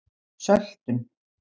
söltun